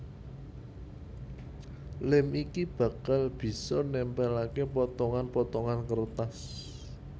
Lem iki bakalan bisa nempelake potongan potongan kertas